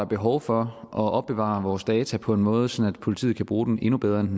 behov for at opbevare vores data på en måde sådan at politiet kan bruge dem endnu bedre end